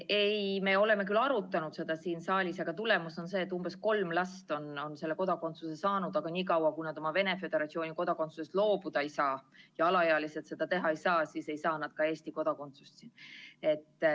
Ei, me oleme küll arutanud seda siin saalis, aga tulemus on see, et umbes kolm last on selle kodakondsuse saanud, kuid niikaua, kui nad oma Venemaa Föderatsiooni kodakondsusest loobuda ei saa – ja alaealised seda teha ei saa –, ei saa nad ka Eesti kodakondsust.